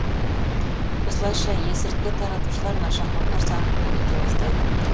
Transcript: осылайша есірткі таратушылар нашақорлар санын көбейте бастайды